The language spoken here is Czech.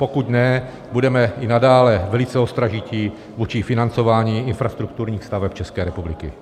Pokud ne, budeme i nadále velice ostražití vůči financování infrastrukturních staveb České republiky.